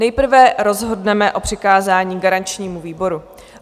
Nejprve rozhodneme o přikázání garančnímu výboru.